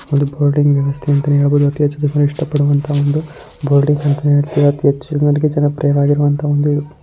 ಓಡಾಡುವ ಬೋರ್ಡ್ ಆಗಿದೆ ಅತಿ ಹೆಚ್ಚು ಇಷ್ಟ ಪಡುವ ಬೋರ್ಡಿಂಗ್ ಅಂತ ಹೇಳಬಹುದು ಮತ್ತೆ ಅತಿ ಹೆಚ್ಚು ಜನಪ್ರಿಯ ಆಗಿರುವ ಒಂದು ಇದು.